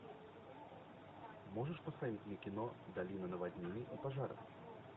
можешь поставить мне кино долина наводнений и пожаров